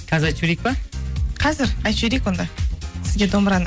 қазір айтып жіберейік пе қазір айтып жіберейік онда сізге домбыраны